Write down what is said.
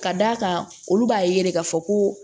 Ka d'a kan olu b'a ye de k'a fɔ ko